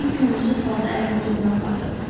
Linni könülsüz halda əlini cibinə apardı.